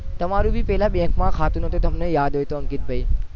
તમારું બી પેહલા bank ખાતું નતું તમને યાદ હોય તો અંકિત ભાઈ